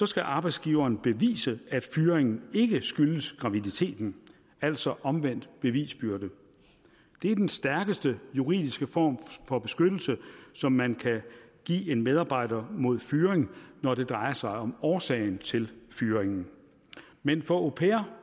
skal arbejdsgiveren bevise at fyringen ikke skyldtes graviditeten altså omvendt bevisbyrde det er den stærkeste juridiske form for beskyttelse som man kan give en medarbejder mod fyring når det drejer sig om årsagen til fyringen men for au pairer